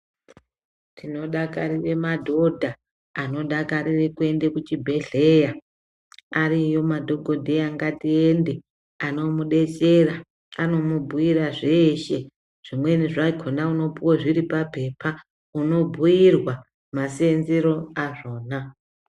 Tinodakarire madhodha anodakarire kuende kuchibhehleya ariyo madhokodheya ngatiende anomudetsera anomubhuyira zveshe zvimweni zvakona unopuwa zviri papepa unobhuyirwa masenzero azvona.